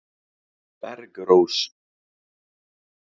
Bergrós